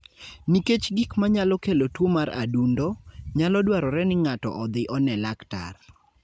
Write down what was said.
Nikech gik manyalo kelo tuwo mar adundo, nyalo dwarore ni ng'ato odhi one laktar.